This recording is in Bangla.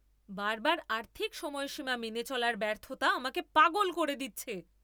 বারবার আর্থিক সময়সীমা মেনে চলার ব্যর্থতা আমাকে পাগল করে দিচ্ছে।